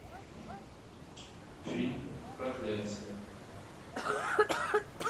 фильм проклятие